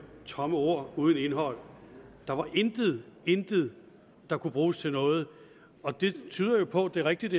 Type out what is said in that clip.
tomme ord uden indhold der var intet intet der kunne bruges til noget og det tyder jo på at det er rigtigt